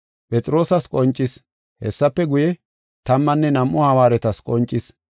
Phexroosas qoncis. Hessafe guye, tammanne nam7u hawaaretas qoncis.